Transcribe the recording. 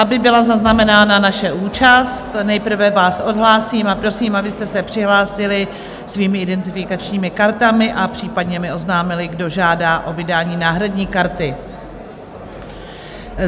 Aby byla zaznamenána naše účast, nejprve vás odhlásím a prosím, abyste se přihlásili svými identifikačními kartami a případně mi oznámili, kdo žádá o vydání náhradní karty.